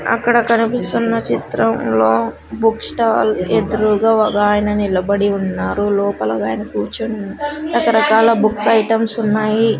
అక్కడ కనిపిస్తున్న చిత్రంలో బుక్ స్టాల్ ఎదురుగా ఒక ఆయన నిలబడి ఉన్నారు లోపల ఒకాయన కూర్చొని ఉన్న రకరకాల బుక్స్ ఐటమ్స్ ఉన్నాయి.